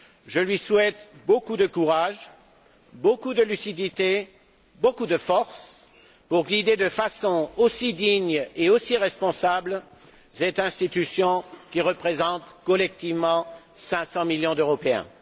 Je lui souhaite beaucoup de courage, beaucoup de lucidité, beaucoup de force, pour guider de façon aussi digne et aussi responsable que possible cette institution qui représente collectivement 500 millions d'Européens.